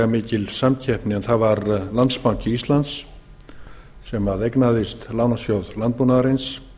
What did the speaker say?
mikil samkeppni það var landsbanki íslands sem eignaðist lánasjóð landbúnaðarins